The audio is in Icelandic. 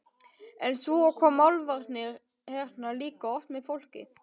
En svo koma álfarnir hérna líka oft með fólki.